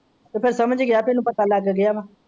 ਤੇ ਫੇਰ ਸਮਝ ਗਿਆ ਤੈਨੂੰ ਪਤਾ ਲੱਗ ਗਿਆ ਵਾ।